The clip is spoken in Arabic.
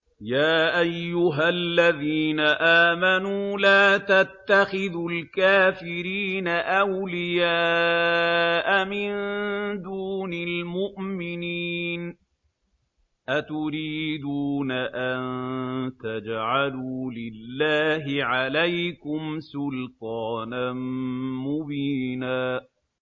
يَا أَيُّهَا الَّذِينَ آمَنُوا لَا تَتَّخِذُوا الْكَافِرِينَ أَوْلِيَاءَ مِن دُونِ الْمُؤْمِنِينَ ۚ أَتُرِيدُونَ أَن تَجْعَلُوا لِلَّهِ عَلَيْكُمْ سُلْطَانًا مُّبِينًا